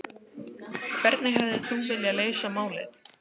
Hrund Þórsdóttir: Hvernig hefðir þú viljað leysa málið?